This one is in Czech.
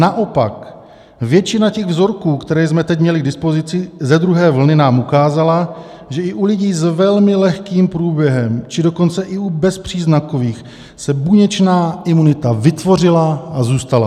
"Naopak, většina těch vzorků, které jsme teď měli k dispozici ze druhé vlny, nám ukázala, že i u lidí s velmi lehkým průběhem, či dokonce i u bezpříznakových se buněčná imunita vytvořila a zůstala."